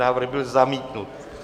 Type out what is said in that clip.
Návrh byl zamítnut.